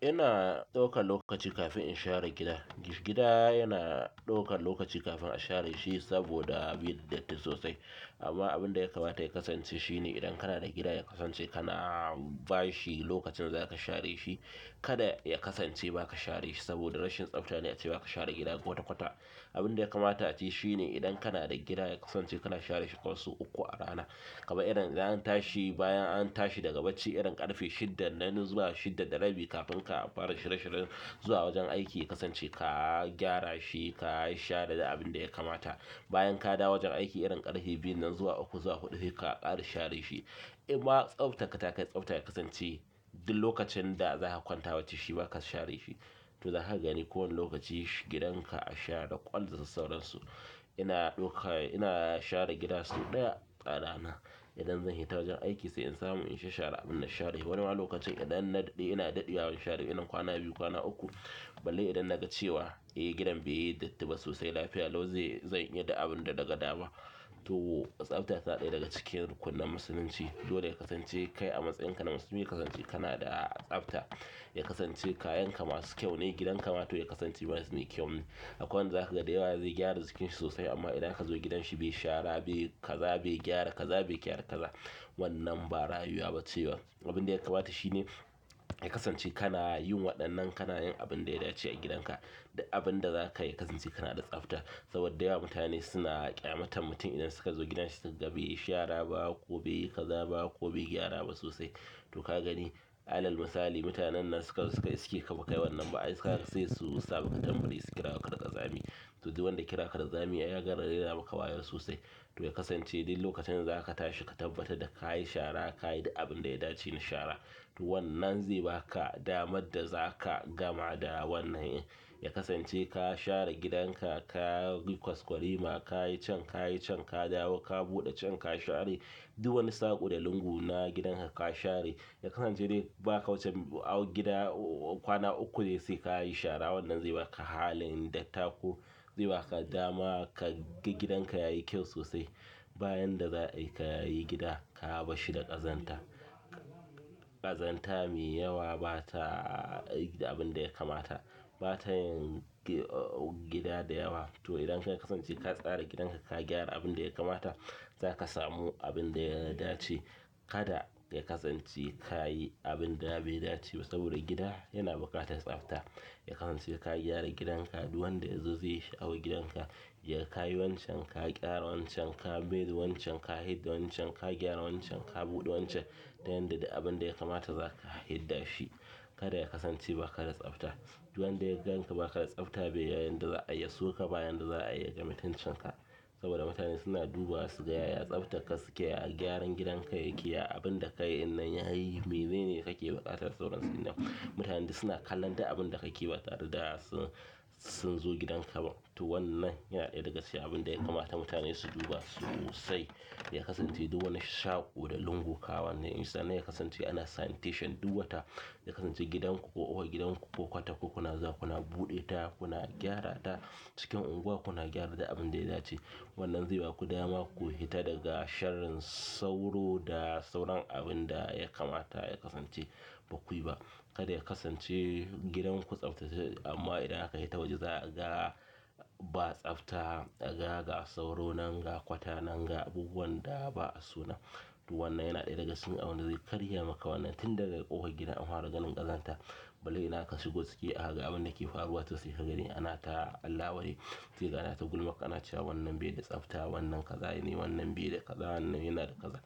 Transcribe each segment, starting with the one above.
Ina ɗaukar lokaci kafin in share gida. Gida yana ɗaukar lokaci kafin a share shi saboda yayi datti sosai. Amma abin da ya kamata ya kasance shine idan kana da gida ya kasance kana ba shi lokacin da za ka share shi. Kada ya kasance ba ka share shi saboda rashin tsafta ne ace ba ka share gida kwata kwata. Abin da ya kamata a ce shine idan kana da gida ya kasance kana share shi sau uku a rana. Kamar idan an tashi bayan an tashi daga bacci, irin ƙarfe shida na nan zuwa shida na rabi kafin ka fara shirye-shiryen zuwa wajen aiki ya kasance ka gyara shi, ka yi share da abin da ya kamata. Bayan ka dawo wajen aiki irin ƙarfe biyun nan zuwa uku, zuwa huɗu sai ka ƙara share shi in ma tsafta ka ta kai tsafta ya kasance duk lokacin da za ka kwanta wacce shima ba ka share shi. To za ka gani kowane lokaci gidanka a share ƙwallarsa, da sauransu. Ina ɗauka, ina share gida sau ɗaya a rana. Idan zan fita wajen aiki sai in samu in sha share abin na share shi. Wani wani lokacin idan na daɗe ina daɗewa ban share idan kwana biyu, kwana uku, balle idan na ga cewa eh gidan beyi datti ba sosai lafiya, lau zai, zan yi da abin da daga dawa. To tsafta tana ɗaya daga cikin rukunin musulunci. To dole ya kasance kai a matsayinka na musulmi ya kasance kana da tsafta. Ya kasance kayanka masu kyau ne, gidanka ma to ya kasance mai kyau ne. Akwai wanda zaka ga zai gyara jikin shi sosai amma idan aka je gidan shi bai shara, bai kaza bai gyara kaza, bai gyara kaza. Wannan ba rayuwa ce ba. Abin da ya kamata shi ne ya kasance kana yin waɗannan kana yin abin da ya dace a gidanka. Duk abin da zakayi ya kasance kana da tsafta saboda da yawa mutane suna ƙyamatar mutum idan suka zo gidansa suka ga bai yi shara ba ko bai yi kaza ba ko bai gyara ba sosai. To ka gani alal misali mutanen nan suka, suke iska ba kai wannan ba ai sai su saba ka jan biro su kira ka da ƙazami. To dai duk wanda ya kira ka da ƙazami ya gama raina maka wayo sosai. To ya kasance duk lokacin da za ka tashi ka tabbatar da ka yi share, ka yi duk abin da ya dace na share. To wannan zai ba ka damar da za ka gama da wannan. Ya kasance ka share gidanka, ka yi kwaskwarima, ka yi can, ka yi can, ka dawo, ka buɗe can, ka share. Duk wani saƙo da lungu na gidanka ka share. Ya kasance dai ba ka wuce a gida kwana uku dai sai ka yi shara wannan zai ba ka halin dattako. Zai ba ka dama ka ga gidanka yayi kyau sosai. Bayan da za'a yi ka yi gida ka haba shi da ƙazanta. Ƙazanta mai yawa ba ta abin da ya kamata. Ba ta yin gida da yawa. To idan ka kasance ka tsara gidanka, ka gyara abin da ya kamata za ka samu abin da ya dace. Kada ya kasance ka yi abin da bai dace ba saboda gida yana buƙatar tsafta. Ya kasance ka gyara gidan ka duk wanda ya zo ya ga ka yi wancan, ka gyara wancan, ka ɓede wancan, ka hidda wancan, ka gyara wancan, ka buɗe wancan. Don yadda da abin da ya kamata za ka hidda shi. Kada ya kasance ba kada tsafta. Duk wanda ya ganka ba kada tsafta bai yayin da za a yi ya so ka, bayan da za a yi ya ga mutuncin ka. Saboda mutane suna duba su ga ya tsaftar ka suke, a gyaran gidanka yake, abin da ka yi di yayi mene ne ka ke buƙatar sauransu idan. Mutane suna kallan duk abin da ka ke ba tare da sun zo gidanka ba. To wannan yana ɗaya daga cikin abin da ya kamata mutane su duba sosai. Ya kasance duk wani saƙo da lungu kawai ne in sha. Na ya kasance ana sanitation duk wata. Ya kasance gidan ku ko gidan ku kwata uku kuna zuwa kuna buɗe ta, kuna gyara ta. Cikin unguwa kuna gyar duk abin da ya dace. Wannan zai ba ku dama ku hita daga sharin sauro da sauran abin da ya kamata ya kasance ba kuyi ba. Kada ya kasance gidan ku a tsaftace amma idan aka yi ta waje za a ga ba tsafta, a ga ga sauro nan, ga kwata nan, ga abubuwan da ba a so nan. To wannan yana ɗaya daga cikin abin da zai karya maka wannan. Tin daga ƙofar gida an fara ganin ƙazanta. Balle idan ka shigo cike a ga abin da yake faruwa sosai, ka gani ana ta alkawari, sai ka na ta gulmakka, na cewa wannan bai da tsafta, wannan kaza ne, wannan bai da kaza, wannan yana da kaza.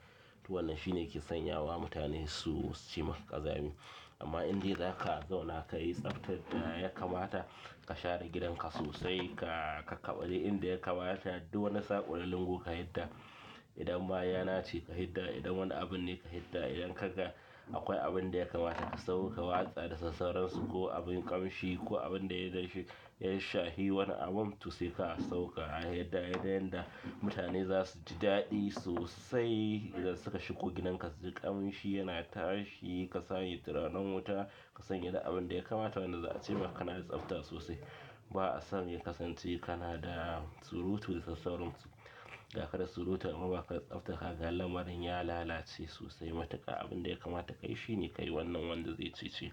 To wannan shine yake sanyawa mutane su ce maka ƙazami. Amma idan zaka zo naka yi tsaftar da ya kamata, ka share gidan ka sosai, ka, ka ƙaɓale inda ya kamata, duk wani saƙo da lungu ka hidda. Idan ma yana ce ka hidda, idan wani abun ne ka hidda, idan ka ga akwai abin da ya kamata ka sauke, ka watsa da sassauransu ko abin ƙamshi ko abin da ya zance ya shahi wani abin to sai ka sauke a hidda. Don yadda da mutane za su ji daɗi sosai idan suka shigo gidan ka su ji ƙamshi yana tashi, ka sanya turaren wuta, ka sanya da abin da ya kamata wannan za a ce maka na da tsafta sosai. Ba a son ya kasance kana da surutu da sassauransu. Gaka da surutar amma ba ka tsafta ka ga lamarin ya lalace sosai matuƙa abin da ya kamata ka yi shine ka yi wannan wanda zai cice.